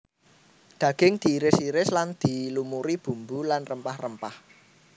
Daging diiris iris lan dilumuri bumbu lan rempah rempah